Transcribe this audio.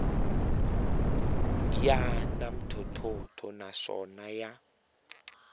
ya na ntlhontlho naswona ya